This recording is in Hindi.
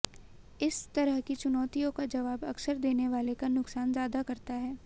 इस तरह की चुनौतियों का जवाब अक्सर देने वाले का नुकसान ज्यादा करता है